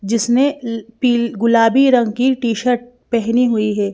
जिसने पी गुलाबी रंग की टी-शर्ट पहनी हुई है।